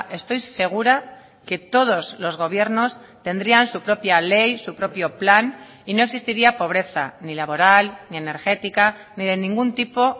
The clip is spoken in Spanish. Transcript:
estoy segura que todos los gobiernos tendrían su propia ley su propio plan y no existiría pobreza ni laboral ni energética ni de ningún tipo